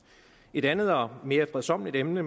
et andet og mere fredsommeligt emne